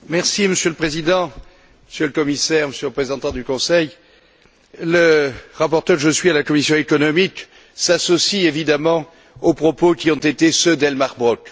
Monsieur le Président, Monsieur le Commissaire, Monsieur le représentant du Conseil, le rapporteur que je suis à la commission économique s'associe évidemment aux propos qui ont été ceux d'Elmar Brok.